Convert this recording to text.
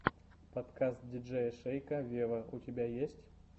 подкаст диджея шейка вево у тебя есть